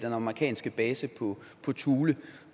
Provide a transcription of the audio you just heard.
amerikanske base på thule